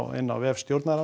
inni á vef